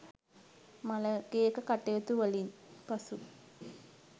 මළගෙයක කටයුතු වලින් පසු